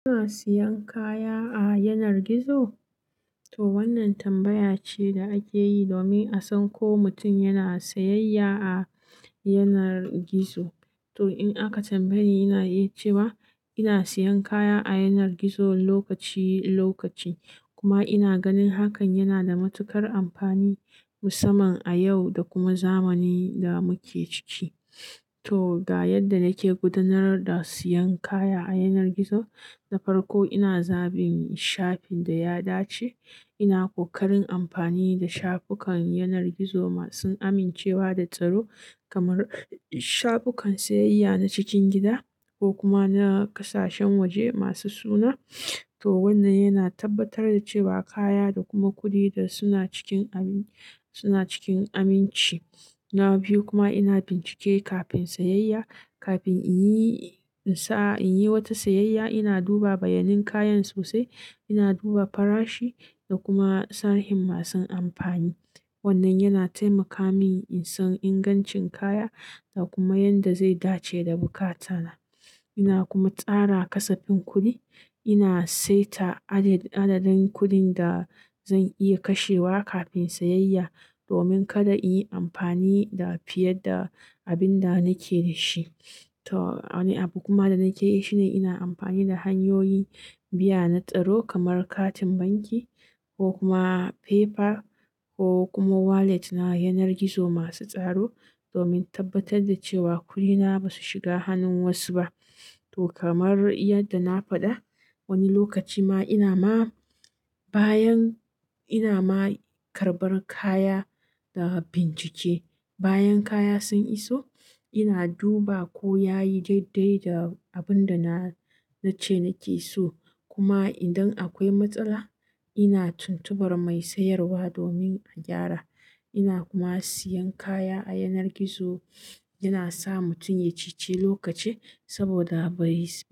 Kuna siyan kaya a yanar gizo? To wannan tambaya ce da ake yi domin a san ko mutum yana sayayya a yanar gizo. To in aka tambaye ni, ina iya cewa ina siyan kaya a yanar gizo lokaci lokaci. Kuma ina ganin hakan yana da matuƙar amfani musamman a yau da kuma zamanin da muke ciki. To, ga yadda nake gudanar da siyan kaya a yanar gizo. Na farko ina zabi shafin da ya dace. Ina kokarin amfani da shafukan yanar gizo masu amincewa da tsaro kamar shafukan sayayya na cikin gida ko kuma na kasashen waje masu suna. To wannan yana tabbatar da cewa kaya da kuma kuɗi da suna cikin ami, suna cikin aminci. Na biyu kuma ina bincike kafin sayayya. Kafin in yi, n sa in yi wata sayayya ina duba bayanin kayan sosai, ina duba farashi da kuma sahihin masu amfani. Wannan yana taimaka mini in san ingancin kaya da kuma yanda zai dace da buƙata na. Ina kuma tsara ƙasafin kuɗi. Ina saita adadin kuɗin da zan iya kashewa kafin sayayya domin kada in yi amfani da fiye da abin da nike da shi. To, wani abu kuma da nake yi shine ina amfani da hanyoyin biya na tsaro kamar katin banki ko kuma PayPal ko kuma wallet na yanar gizo masu tsaro domin tabbatar da cewa kuɗina ba su shiga hannun wasu ba. To kamar yadda na faɗa, wani lokaci ma ina ma bayan ina ma karɓar kaya da bincike. Bayan kaya sun iso ina duba ko yayi daidai da abin da na, na ce nake so. Kuma idan akwai matsala ina tuntubar mai sayarwa domin a gyara. Ina kuma siyan kaya a yanar gizo yana sa mutum ya ceci lokaci saboda ba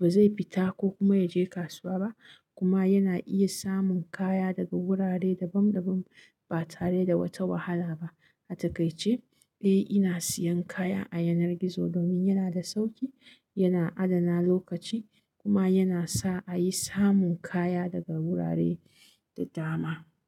zai fita ko kuma ya je kasuwa ba. Kuma yana iya samun kaya daga wurare dabam dabam ba tare da wata wahala ba. A takaice, eh ina siyan kaya a yanar gizo domin yana da sauƙi, yana adana lokaci kuma yana sa a yi samun kaya daga wurare da dama.